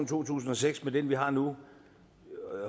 to tusind og seks med den vi har nu